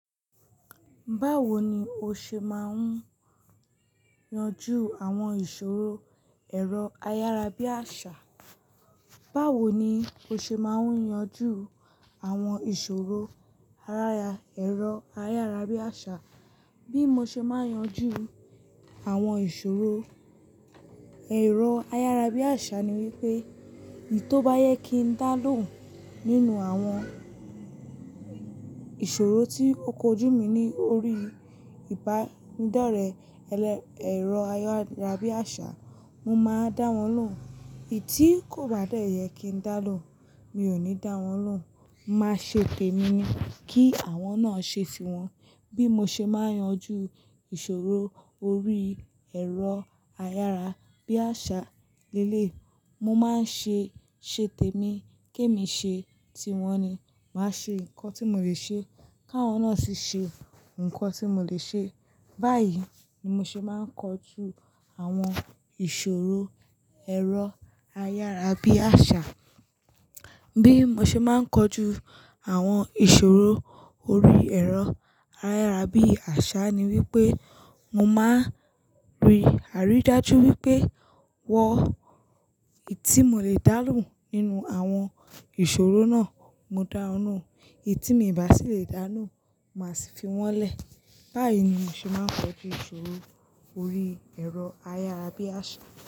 Báwo ni o ṣe máa ń yanjú àwọn ìṣòro ẹ̀rọ ayárabíàṣá? Báwo ni o ṣe máa ń yanjú àwọn ìṣòro araya, ẹ̀rọ ayárabíàṣá? Bí mo ṣe máa ń yanjú àwọn ìṣòro ẹ̀rọ ayárabíàṣá ni wípé, èyí tó bá yẹ kí n dá lóhùn nínú àwọn ìṣòro tí ó kojú mi ní orí ìbánidọ́rẹ̀, ẹlẹ, ẹ̀rọ ayárabíàṣá, mo máa dá wọn lóhùn. Èyí tí kò bá de yẹ kí n dá lóhùn, mi ò ní dá wọn lóhùn. Máa ṣètè mi kí àwọn náà ṣe tiwọn. Bí mo ṣe máa ń yanjú ìṣòro orí ẹ̀rọ ayárabíàṣá leleyi, mo máa ń ṣe, ṣètè mi kí émi ṣe tiwọn ni. Màá ṣe nǹkan tí mò lè ṣe, káwọn náà sì ṣe nǹkan tí mò lè ṣe. Báyìí ni mo ṣe máa ń kojú àwọn ìṣòro ẹ̀rọ ayárabíàṣá. Bí mo ṣe máa ń kojú àwọn ìṣòro orí ẹ̀rọ ayárabíàṣá ni wípé, mo máa n ri aridájú wípé, wọ́n, èyí tí mò lè dá lóhùn nínú àwọn ìṣòro náà, mo dá won lóhùn. Èyí tí mii bá sì lè dá lóhùn, màá sì fi wọ́n lẹ̀. Báyìí ni mo ṣe máa ń kojú ìṣòro orí ẹ̀rọ ayárabíàṣá.